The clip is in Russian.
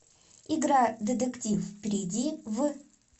игра детектив перейди в